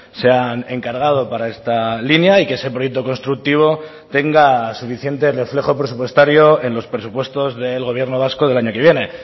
se han encargado para esta línea y que ese proyecto constructivo tenga suficiente reflejo presupuestario en los presupuestos del gobierno vasco del año que viene